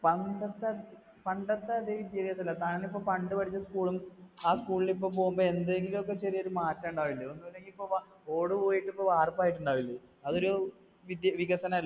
പണ്ടത്തെ, പണ്ടത്തെ അതേ വിദ്യാഭ്യാസമല്ല, താൻ ഇപ്പോ പണ്ട് പഠിച്ച school ഉം ആ school ൽ ഇപ്പം പോകുമ്പോ എന്തെങ്കിലുമൊക്കെ ചെറിയൊരു മാറ്റം ഉണ്ടാകില്ലെ. ഒന്നും ഇല്ലെങ്കിൽ ഇപ്പൊ ഓട് പോയിട്ട് ഇപ്പൊ വാർപ്പായിട്ട് ഉണ്ടാവില്ലേ, അതൊരു വിദ്യ വികസനം അല്‍